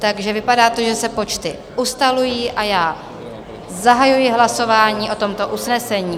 Takže vypadá to, že se počty ustalují, a já zahajuji hlasování o tomto usnesení.